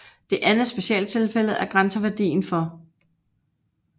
Det andet specialtilfælde er grænseværdien for